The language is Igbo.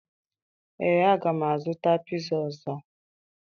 Ee, aga m azụta piza ọzọ